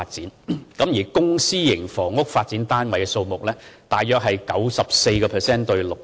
至於發展後公私營房屋單位的數目，大約是 94% 比 6%。